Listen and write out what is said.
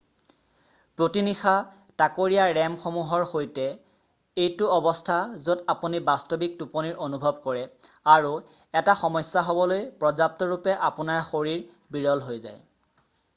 প্ৰতি নিশা তাকৰীয়া rem সমূহৰ সৈতে এইটো অৱস্থা য'ত আপুনি বাস্তৱিক টোপনিৰ অনুভৱ কৰে আৰু এটা সমস্যা হ'বলৈ পৰ্য্যাপ্তৰূপে আপোনাৰ শৰীৰ বিৰল হৈ যায়৷